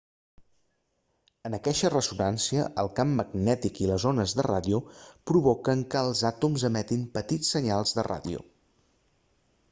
en aqueixa ressonància el camp magnètic i les ones de ràdio provoquen que els àtoms emetin petits senyals de ràdio